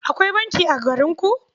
Akwai banki a garinku?